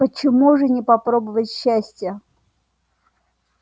почему же не попробовать счастье